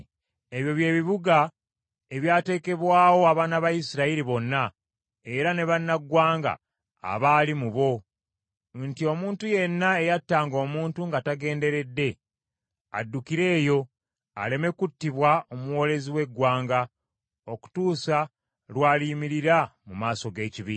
Ebyo bye bibuga ebyateekebwawo abaana ba Isirayiri bonna era ne bannaggwanga abaali mu bo nti omuntu yenna eyattanga omuntu nga tagenderedde addukire eyo aleme kuttibwa omuwoolezi w’eggwanga okutuusa lw’aliyimirira mu maaso g’ekibiina.